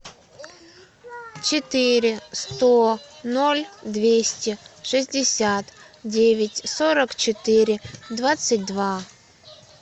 четыре сто ноль двести шестьдесят девять сорок четыре двадцать два